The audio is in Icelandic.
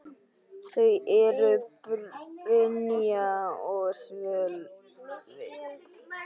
Þau eru: Brynja og Sölvi.